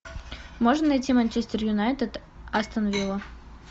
можно найти манчестер юнайтед астон вилла